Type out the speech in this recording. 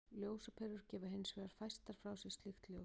Ljósaperur gefa hins vegar fæstar frá sér slíkt ljós.